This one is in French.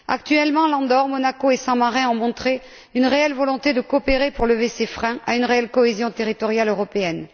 Actuellement, l'Andorre, Monaco et Saint Marin ont montré une réelle volonté de coopérer pour lever ces freins à une réelle cohésion territoriale européenne.